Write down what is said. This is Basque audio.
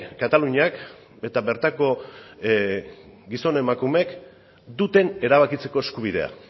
kataluniak eta bertako gizon emakumeek duten erabakitzeko eskubidea